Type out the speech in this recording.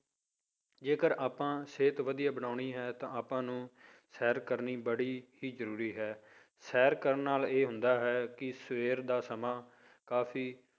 ਜੇਕਰ ਆਪਾਂ ਸਿਹਤ ਵਧੀਆ ਬਣਾਉਣੀ ਹੈ ਆਪਾਂ ਨੂੰ ਸੈਰ ਕਰਨੀ ਬੜੀ ਜ਼ਰੂਰੀ ਹੈ, ਸੈਰ ਕਰਨ ਨਾਲ ਇਹ ਹੁੰਦਾ ਹੈ ਕਿ ਸਵੇਰ ਦਾ ਸਮਾਂ ਕਾਫ਼ੀ